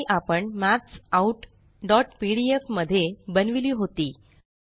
ही फाइल आपण maths outपीडीएफ मध्ये बनविली होती